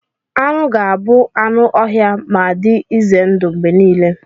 Anụ ga-abụ anụ ọhịa ma dị ize ndụ mgbe niile.